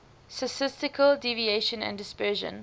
statistical deviation and dispersion